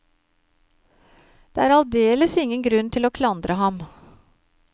Det er aldeles ingen grunn til å klandre ham.